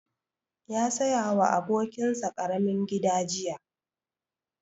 Ya saya wa abokin sa ƙaramin gida jiya